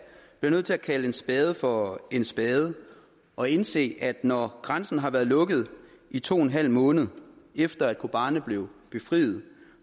bliver nødt til at kalde en spade for en spade og indse at når grænsen har været lukket i to en halv måned efter at kobani blev befriet